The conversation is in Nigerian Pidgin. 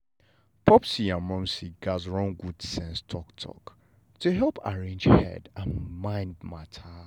popsi and momsi gatz run good sense talk-talk to helep arrange head and mind matter.